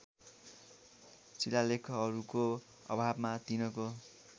शिलालेखहरूको अभावमा तिनको